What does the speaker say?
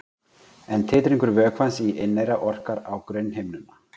En titringur vökvans í inneyra orkar á grunnhimnuna.